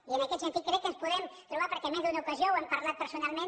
i en aquest sentit crec que ens podem trobar perquè en més d’una ocasió ho hem parlat personalment